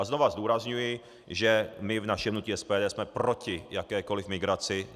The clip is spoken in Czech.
A znova zdůrazňuji, že my v našem hnutí SPD jsme proti jakékoliv migraci.